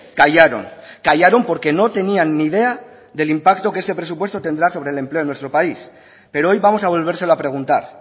callaron callaron porque no tenían ni idea del impacto que este presupuesto tendrá sobre el empleo en nuestro país pero hoy vamos a volvérselo a preguntar